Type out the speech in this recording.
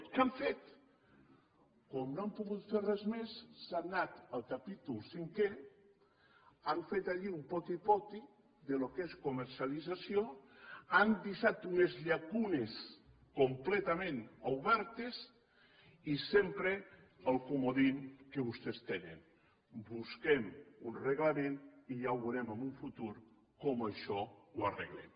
què han fet com que no han pogut fer res més han anat al capítol cinquè han fet allí un poti poti del que és comercialització han deixat unes llacunes completament obertes i sempre el comodí que vostès tenen busquem un reglament i ja veurem en un futur com això ho arreglem